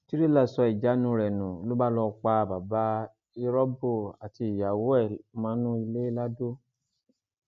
tírélà sọ ìjánu rẹ nù ló bá lọọ pa bàbá irọbó àti ìyàwó ẹ mọnú ilé lado